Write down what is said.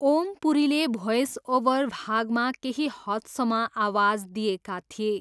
ओम पुरीले voice over भागमा केही हदसम्म आवाज दिएका थिए।